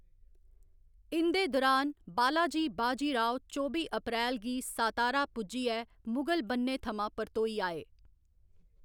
इं'दे दुरान, बालाजी बाजी राव चौबी अप्रैल गी सतारा पुज्जियै मुगल बन्ने थमां परतोई आए।